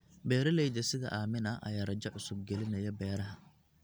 Beeralayda sida Aamina ayaa rajo cusub gelinaya beeraha.